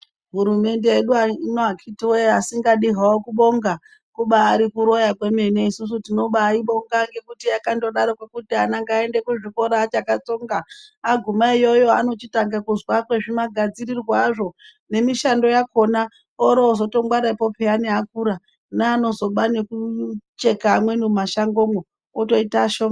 Hurumende yedu ayi ino akhiti woye asingadi hawo kubonga kubaari kuroya kwemene. Isusu tinobayibonga ngekuti yakandodaroko kuti ana ngaaende kuchikora achakatsonga aguma iyoyo anochitange kuzwa kwezvimagadzirirwe azvo nemishando yakhona oro ozotongwarepo piyani akura neanozoba nekucheka amweni mumashangomwo otoita ashoma.